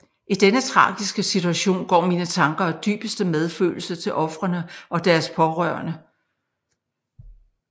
I denne tragiske situation går mine tanker og dybeste medfølelse til ofrene og deres pårørende